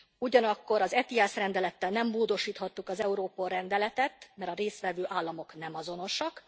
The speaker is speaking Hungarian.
Ugyanakkor az ETIAS rendelettel nem módosíthattuk az Europol rendeletet, mert a részt vevő államok nem azonosak.